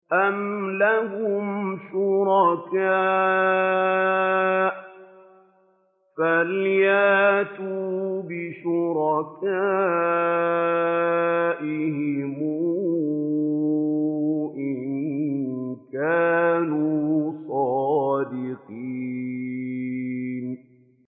أَمْ لَهُمْ شُرَكَاءُ فَلْيَأْتُوا بِشُرَكَائِهِمْ إِن كَانُوا صَادِقِينَ